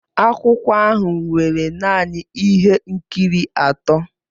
Akwụkwọ ahụ nwere naanị ihe nkiri atọ.